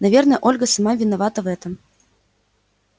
наверное ольга сама виновата в этом